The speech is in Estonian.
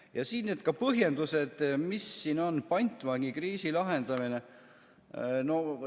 Ja siin need põhjendused, mis siin on, pantvangikriisi lahendamine.